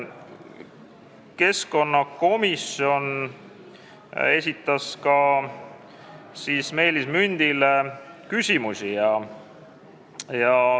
Keskkonnakomisjon esitas Meelis Mündile küsimusi.